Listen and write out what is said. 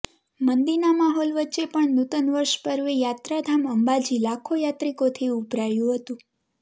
મંદીના માહોલ વચ્ચે પણ નુતન વર્ષ પર્વે યાત્રાધામ અંબાજી લાખો યાત્રિકોથી ઉભરાયું હતું